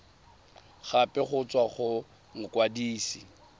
gape go tswa go mokwadise